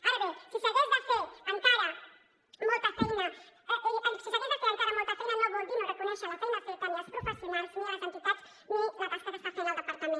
ara bé si s’hagués de fer encara molta feina no vol dir no reconèixer la feina feta ni els professionals ni les entitats ni la tasca que està fent el departament